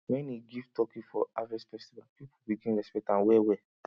when he give turkey for harvest festival people begin respect am wellwell